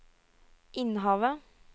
Innhavet